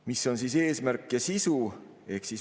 Mis on selle eesmärk ja sisu?